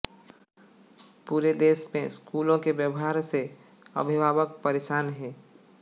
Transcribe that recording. पुरे देश में स्कूलों के व्यवहार से अभिवाहक परेशान हैं